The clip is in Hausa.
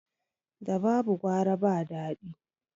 Da babu gwara ba dadi